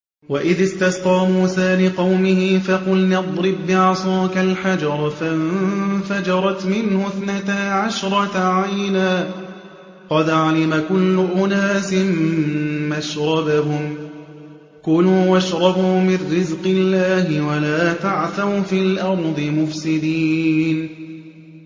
۞ وَإِذِ اسْتَسْقَىٰ مُوسَىٰ لِقَوْمِهِ فَقُلْنَا اضْرِب بِّعَصَاكَ الْحَجَرَ ۖ فَانفَجَرَتْ مِنْهُ اثْنَتَا عَشْرَةَ عَيْنًا ۖ قَدْ عَلِمَ كُلُّ أُنَاسٍ مَّشْرَبَهُمْ ۖ كُلُوا وَاشْرَبُوا مِن رِّزْقِ اللَّهِ وَلَا تَعْثَوْا فِي الْأَرْضِ مُفْسِدِينَ